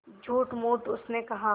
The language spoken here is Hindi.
झूठमूठ उसने कहा